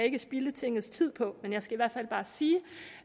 ikke spilde tingets tid på men jeg skal i hvert fald bare sige